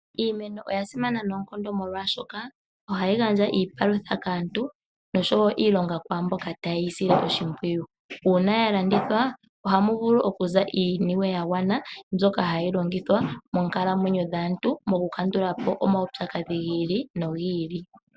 Iimeno oya simana noonkondo, molwashoka ohayi gandja iipalutha kaantu nosho wo iilonga kwaa mboka taye yi sile oshimpwiyu. Uuna ya landithwa ohamu vulu okuza iiniwe ya gwana mbyoka hayi longithwa moonkalamwenyo dhaantu mokukandula po omaupyakadhi gi ili nogi ili.